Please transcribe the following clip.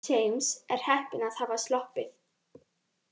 James er heppinn að hafa sloppið.